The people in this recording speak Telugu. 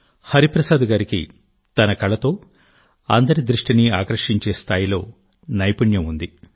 హరిప్రసాద్ గారు తన కళతో అందరి దృష్టిని ఆకర్షించే స్థాయిలో నైపుణ్యం ఉంది